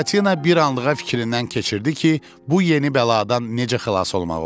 Buratino bir anlığa fikrindən keçirdi ki, bu yeni bəladan necə xilas olmaq olar.